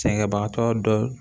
Sɛgɛnbagatɔ dɔ